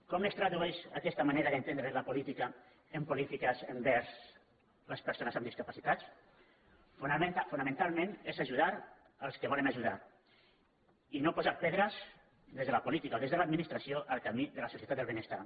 com es tradueix aquesta manera d’entendre la política en polítiques envers les persones amb discapacitats fonamentalment és ajudar als que volen ajudar i no posar pedres des de la política o des de l’administra·ció al camí de la societat del benestar